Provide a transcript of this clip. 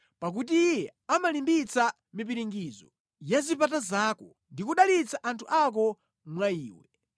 pakuti Iye amalimbitsa mipiringidzo ya zipata zako ndi kudalitsa anthu ako mwa iwe.